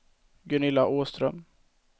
Gunilla Åström